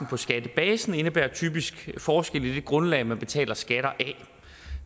på skattebasen indebærer typisk forskelle i det grundlag man betaler skatter af